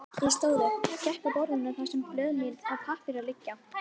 Ég stóð upp, gekk að borðinu þar sem blöð mín og pappírar liggja.